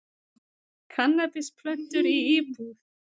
Kannabisplöntur í íbúð